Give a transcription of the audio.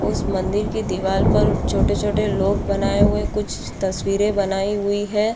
उस मंदिर की दीवार पर छोटे-छोटे लोग बनाए हुए हैं कुछ तस्वीर बनाई हुई है।